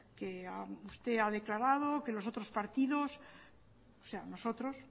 que usted ha declarado que los otros partidos o sea nosotros